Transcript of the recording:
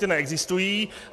Ty neexistují.